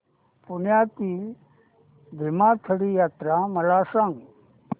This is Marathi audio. पुण्यातील भीमथडी जत्रा मला सांग